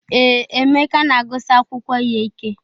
Ee, Eemeka na-agụsi akwụkwọ ya ike.